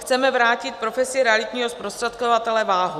Chceme vrátit profesi realitního zprostředkovatele váhu.